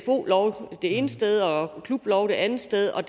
lov det ene sted og en klublov det andet sted og